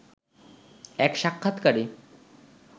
এক সাক্ষাৎকারে